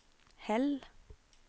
Hell